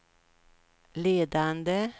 ledande